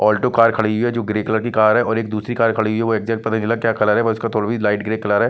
Alto car खड़ी हुई है जो ग्रे कलर की कार है और एक दूसरी कार खड़ी है जो एग्झॅक्ट पता नहीं चल रहा क्या कलर है वह उसका थोड़ा लाइट ग्रे कलर है।